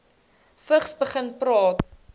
vigs begin praat